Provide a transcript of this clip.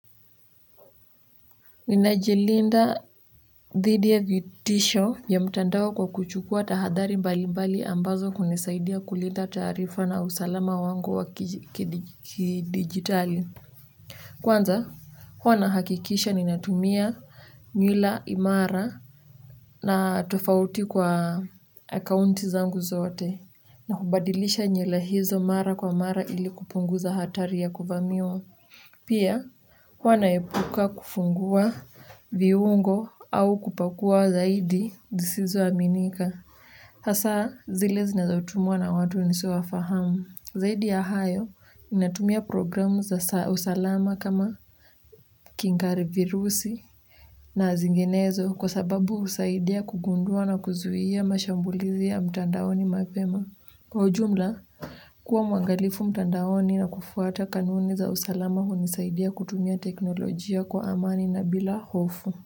Ninajilinda dhidi ya vitisho ya mtandao kwa kuchukua tahadhari mbalimbali ambazo hunisaidia kulinda taarifa na usalama wangu wa kidigitali kwanza huwa nahakikisha ninatumia nywila imara na tofauti kwa akaunti zangu zote na kubadilisha nywila hizo mara kwa mara ili kupunguza hatari ya kuvamiwa pia, huwa naepuka kufungua viungo au kupakua zaidi zisizoaminika. Hasaa, zile zinazotumwa na watu nisiowafahamu. Zaidi ya hayo, ninatumia programu za usalama kama kingari virusi na zinginezo kwa sababu husaidia kugundua na kuzuia mashambulizi ya mtandaoni mapema. Kwa ujumla, kuwa mwangalifu mtandaoni na kufuata kanuni za usalama hunisaidia kutumia teknolojia kwa amani na bila hofu.